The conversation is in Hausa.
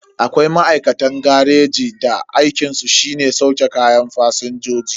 Akwai ma'aikatan gareji da aikinsu shine sauke kayan fasinjoji.